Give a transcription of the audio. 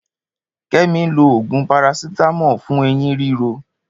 Kẹmi lo òògùn parasitamọ fún eyin riro.